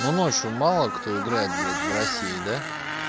ну ночью мало кто играет блять в россии да